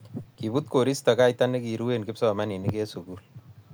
kibut koristo kaita nekirue kipsomaninik eng sukul.